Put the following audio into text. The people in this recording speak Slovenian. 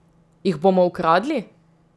Jih bomo ukradli?